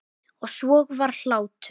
Og svo var hlátur.